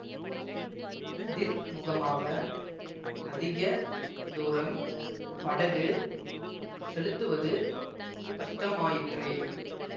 எதிர்முகமாக அதிக தூரம் படகு செலுத்துவது கஷ்டமாயிற்றே